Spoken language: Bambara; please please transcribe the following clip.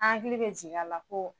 An hakili bɛ jigin a la ko